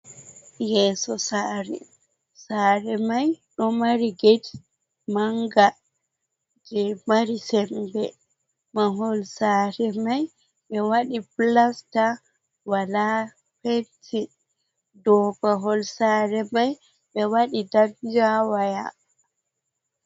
Yeeso saare, saare mai ɗo mari get manga je mari sembe. Mahol saare mai ɓe waɗi pilasta, walaa penti, dow mahol saare mai ɓe waɗi danjaa-woya.